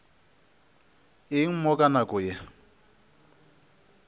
eng mo ka nako ye